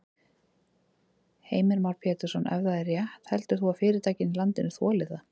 Heimir Már Pétursson: Ef það er rétt heldur þú að fyrirtækin í landinu þoli það?